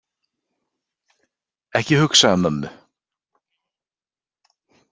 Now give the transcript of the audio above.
Ekki hugsa um mömmu.